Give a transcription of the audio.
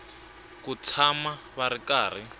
ku tshama va ri karhi